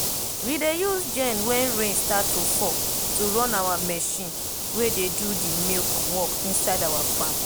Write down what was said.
we dey use gen wen rain start to fall to run our marchin wey dey do de milk work inside our farm